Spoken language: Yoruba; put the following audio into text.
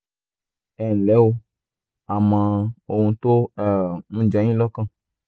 ẹ nlẹ́ o a mọ ohun tó um ń jẹ yín lọ́kàn